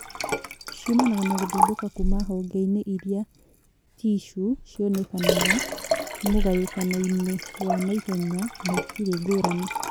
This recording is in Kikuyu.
ciumanaga na gũthundũka Kuma hongeinĩ iria ticuu cionekanaga mũgayũkano -inĩ wa naihenya na itirĩ ngũrani